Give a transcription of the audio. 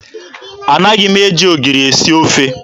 Anaghị m eji ogiri esi ofe.